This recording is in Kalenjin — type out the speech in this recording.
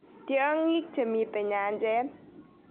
Tyong'iik chemitei nyanjas